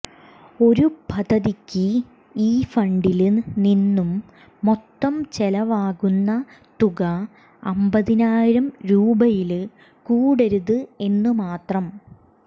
ഒരു പദ്ധതിക്ക് ഈ ഫണ്ടില് നിന്നും മൊത്തം ചെലവാക്കുന്ന തുക അമ്പതിനായിരം രൂപയില് കൂടരുത് എന്ന് മാത്രം